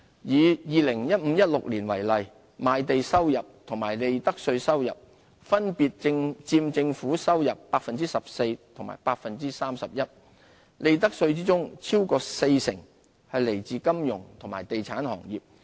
以 2015-2016 年度為例，賣地收入和利得稅收入分別佔政府收入 14% 和 31%， 利得稅中超過四成來自金融和地產行業。